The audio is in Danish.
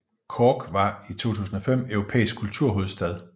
Cork var i 2005 europæisk kulturhovedstad